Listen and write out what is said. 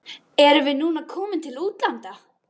Erum við núna komin til útlanda?